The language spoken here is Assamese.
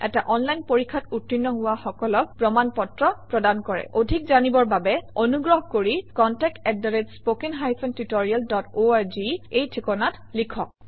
এটা অনলাইন পৰীক্ষাত উত্তীৰ্ণ হোৱা সকলক প্ৰমাণ পত্ৰ প্ৰদান কৰে অধিক জানিবৰ বাবে অনুগ্ৰহ কৰি contactspoken tutorialorg এই ঠিকনাত লিখক